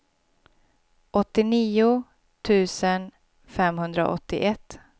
åttionio tusen femhundraåttioett